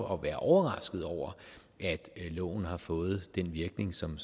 og være overrasket over at loven har fået den virkning som